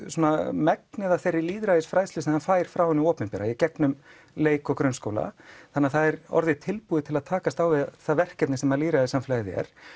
megnið af þeirri lýðræðisfræðslu sem það fær frá hinu opinbera í gegnum leik og grunnskóla þannig að það er orðið tilbúið til að takast á við það verkefni sem lýðræðissamfélagið er